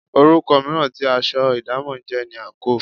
Orúkọ mìíràn tí aṣọ idamo jẹ́ ni àńkò.